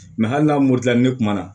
Mɛ hali n'a moto la ne kuma na